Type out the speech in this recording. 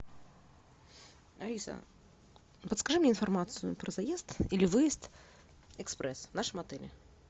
алиса подскажи мне информацию про заезд или выезд экспресс в нашем отеле